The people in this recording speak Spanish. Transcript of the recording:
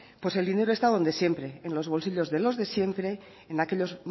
pues el dinero está donde siempre en los bolsillos de los de siempre en aquellos